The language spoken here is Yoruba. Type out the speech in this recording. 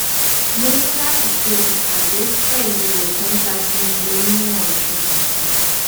mo ní láti ṣe ìpàdé pẹ̀lú ògbóǹtagì onímọ̀ ìṣègùn kan